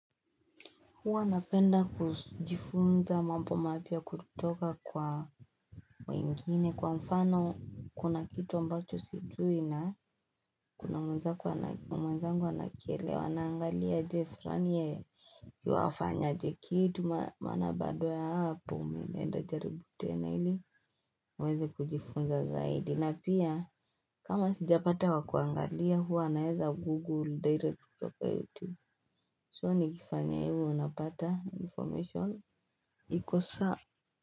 Huwa napenda kujifunza mambo mapya kutoka kwa wengine kwa mfano kuna kitu ambacho sijui na kuna mwenzangu anakielewa naangalia je, flani yuafanya aje kitu? Maana baada ya hapo naenda jaribu tena ili niweze kujifunza zaidi. Na pia kama sijapata wa kuangalia huwa naeza google direct kutoka YouTube, so nikifanya hivo napata information iko sawa.